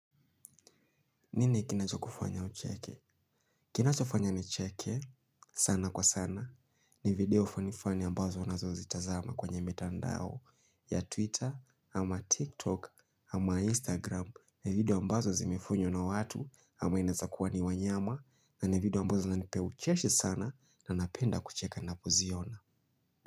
Nini kinachokufanya ucheke. Kinachofanya nicheke, sana kwa sana. Ni video fanifani ambazo nazo zitazama kwenye mitandao. Ya Twitter, ama TikTok, ama Instagram. Ni video ambazo zimefanywa na watu, ama inaweza kuwa ni wanyama. Na ni video ambazo zinanipa ucheshi sana na napenda kucheka ninapo ziona.